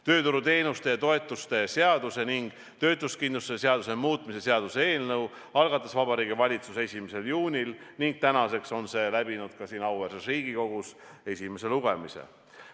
Tööturuteenuste ja -toetuste seaduse ning töötuskindlustuse seaduse muutmise seaduse eelnõu algatas Vabariigi Valitsus 1. juunil ning tänaseks on see läbinud siin auväärses Riigikogus esimese lugemise.